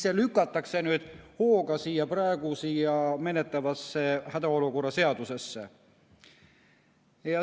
See lükatakse nüüd hooga siia praegu menetletavasse hädaolukorra seadusesse.